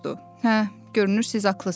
Hə, görünür siz haqlısız.